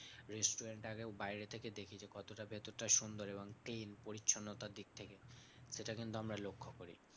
Restaurant আগে বাইরে থেকে দেখি যে, কতটা ভেতরটা সুন্দর এবং clean পরিচ্ছন্নতার দিক থেকে সেটা কিন্তু আমরা লক্ষ্য করি।